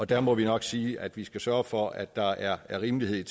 der må vi nok sige at vi skal sørge for at der er rimelighed